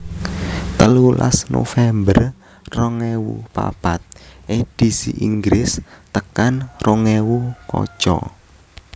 telulas november rong ewu papat Edisi Inggris tekan rong ewu kaca